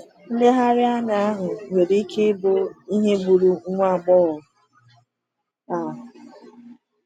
Nleghara anya ahụ nwere ike ịbụ ihe gburu nwa agbọghọ a.